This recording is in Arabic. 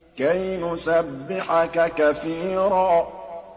كَيْ نُسَبِّحَكَ كَثِيرًا